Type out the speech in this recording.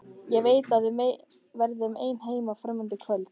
Ég veit að við verðum ein heima fram undir kvöld.